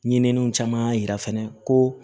Ɲininiw caman y'a yira fana ko